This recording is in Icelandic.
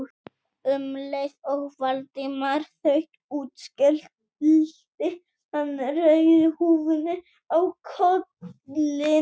Um leið og Valdimar þaut út skellti hann rauðu húfunni á kollinn.